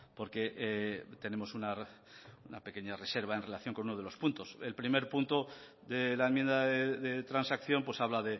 porque tenemos una pequeña reserva en relación con uno de los puntos el primer punto de la enmienda de transacción pues habla